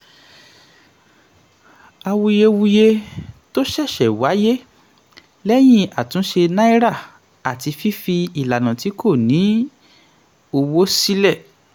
àwuyewuye tó ṣẹ̀ṣẹ̀ wáyé lẹ́yìn àtúnṣe naira àti fífi ìlànà tí kò ní owó sílẹ̀.